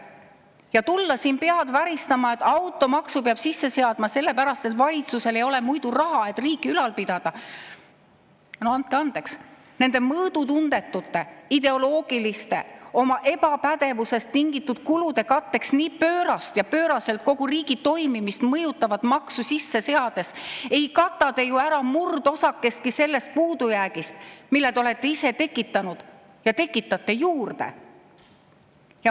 Ja tulla siin pead väristama, et automaksu peab sisse seadma selle pärast, et valitsusel ei ole muidu raha, et riiki ülal pidada – no andke andeks, nende mõõdutundetute ideoloogiliste, oma ebapädevusest tingitud kulude katteks nii pöörast ja nii pööraselt kogu riigi toimimist mõjutavat maksu sisse seades ei kata te ju ära murdosakestki sellest puudujäägist, mille te olete ise tekitanud ja mida te juurde tekitate.